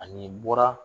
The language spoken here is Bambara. Ani bɔra